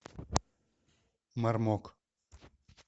мармок